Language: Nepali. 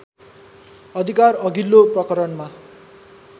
अधिकार अघिल्लो प्रकरणमा